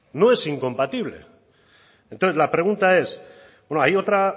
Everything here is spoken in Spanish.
no es incompatible entonces la pregunta es bueno hay otra